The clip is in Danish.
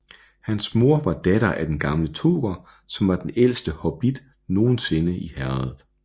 Hans mor var datter af Den Gamle Toker som var den ældste hobbit nogensinde i Herredet